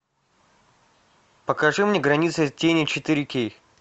покажи мне граница тени четыре кей